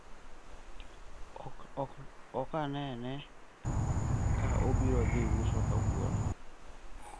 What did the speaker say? ok ane ka abiro dhi uso kawuono